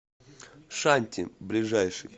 шанти ближайший